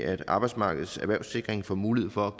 at arbejdsmarkedets erhvervssikring får mulighed for